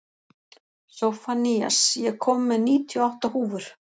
Sophanías, ég kom með níutíu og átta húfur!